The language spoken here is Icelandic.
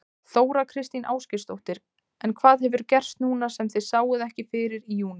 Þóra Kristín Ásgeirsdóttir: En hvað hefur gerst núna sem þið sáuð ekki fyrir í júní?